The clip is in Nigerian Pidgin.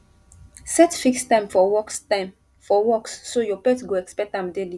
set fixed time for walks time for walks so your pet go expect am daily